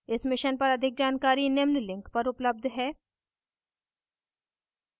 इस mission पर अधिक जानकारी निम्न link पर उपलब्ध है: